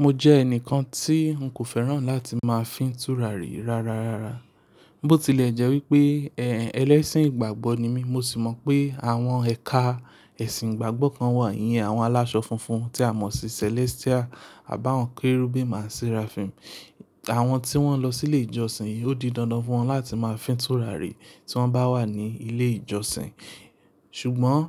Mo jẹ́ ẹnìkan tí n kò fẹ́ràn láti máa fín tùràrí rárá. Bó tilẹ̀ jẹ́ wípé, ẹ́ ẹlẹ́sìn ìgbàgbọ́ ni mí, mo sì mọ̀ pé àwọn ẹka ẹ̀sìn ìgbàgbọ́ kan wà yẹn, àwọn aláṣọ funfun tí a mọ̀ sí Celestial, àbá àwọn Kérúbù and Seraphim. Àwọn tí wọ́n lọ sílé ìjọsìn, ó di dandan fún wọn láti máa fín tùràrí tí wọ́n bá wà ní ilé ìjọsìn. Ṣùgbọ́n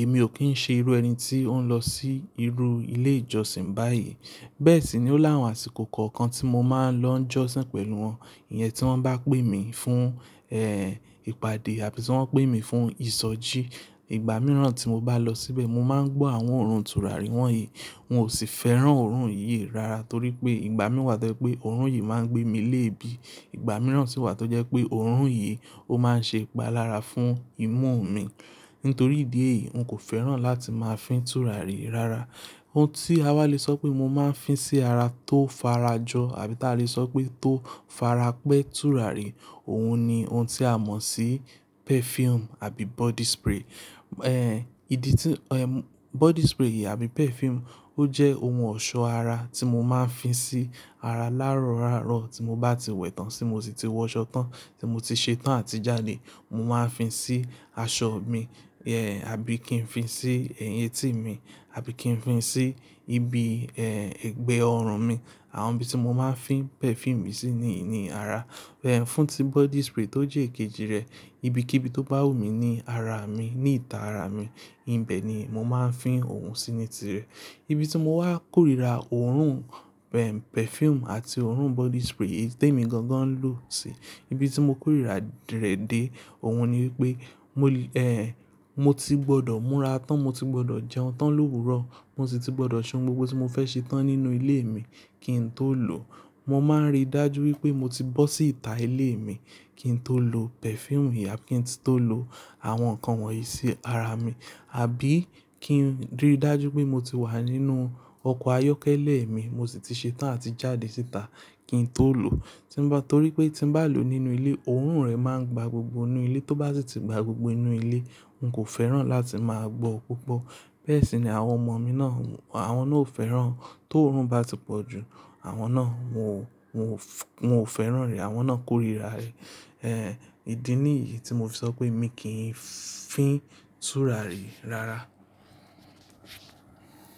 èmi ò kí ń ṣe irú ẹni tí ó ń lọ sí irú ilé ìjọsìn báyìí. Bẹ́ẹ̀ sì ni ó láwọn àsìkò kọ̀ọ̀kan tí mo máa ń lọ ń jọ́sìn pẹ̀lú wọn. Iyẹn tí wọ́n bá pè mí fún, ẹ́ ìpàdé àbí tí wọ́n pè mí fún ìsọjí. Ìgbà mìíràn tí mo bá lọ síbẹ̀, mo máa ń gbọ́ àwọn òórùn tùràrí wọ́n yìí. Hun ò sì fẹ́ràn òórùn yìí rárá torí pé ìgbà mìíràn tẹ́lẹ̀ pé òórùn yìí máa ń gbé mi léèébí. Ìgbà mìíràn sì wà tó jẹ́ pé òórùn yìí ó máa ń ṣe ipalára fún imú mi. Nítorí ìdí èyí, n kò fẹ́ràn láti máa fín tùràrí rárá. Ohun tí a wá le sọ pé mo máa ń fín sí ara tó farajọ àbí tí a lè sọ pé tó farapẹ́ tùràrí, òun ni ohun tí a mọ̀ sí perfume àbí body spray. Ìdí tí, ẹ̀ m-- body spray yìí àbí perfume ó jẹ́ ohun ọ̀ṣọ́ ara tí mo máa ń fín sí ara láárọ̀ lárọ̀ tí mo bá ti wẹ̀ tán sí mo sì ti wọṣọ tán, tí mo ti ṣetán àti jáde. Mo máa ń fín sí aṣọ mi, ẹ̀ àbí kí n fín sí ẹyín tì mí, àbí kí n fín sí ibi, ẹ́ ẹgbẹ́ ọrùn mi. Àwọn ibi tí mo máa ń fín perfume sí ni ìní ara. Fún tí body spray tó jẹ́ èkejì rẹ̀, ibi kí ibi tó bá wù mí ní ara mi, ní ìta ara mi, ibẹ̀ ni mo máa ń fín òun sí ní tire. Ibi tí mo wá kórìíra òórùn, perfume àti òórùn body spray yìí tí èmi gangan ń lò síi, ibi tí mo kórìíra rẹ̀ dé, òun ni wípé mo lè, mo ti gbọ́dọ̀ múra tán, mo ti gbọ́dọ̀ jẹun tán l'òwúrọ̀, mo sì ti gbọ́dọ̀ ṣe oun gbogbo tí mo fẹ́ ṣe tán nínú ilé mi kí n tó lò ó. Mo máa ń rí dájú wípé mo ti bọ́ sí ìta ilé mi kí n tó lò perfume yìí àbí kí n tó lò àwọn nǹkan wọ̀nyí sí ara mi. Àbí kí n rí dájú pé mo ti wà nínú ọkọ̀ ayọ́kẹ́lẹ́ mi, mo sì ti ṣetán àti jáde síta kí n tó lò ó. Tí ń bá torí pé tí n bá lò ó nínú ilé, òórùn rẹ̀ máa ń gba gbogbo inú ilé, tó bá sì ti gba gbogbo inú ilé, n kò fẹ́ràn láti máa gbọ́ púpọ̀. Bẹ́ẹ̀ sì ni àwọn ọmọ mi náà, àwọn náà ò fẹ́ràn tó òórùn bá ti pọ̀ jù. Àwọn náà mo, mo ò fẹ́ràn rẹ̀, àwọn náà kórìíra rẹ̀. Ìdí nìyí tí mo fi sọ pé èmi kì í fín tùràrí rárá.